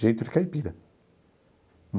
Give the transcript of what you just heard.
Jeito de caipira.